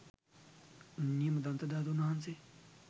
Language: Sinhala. නියම දන්තධාතූන් වහන්සේ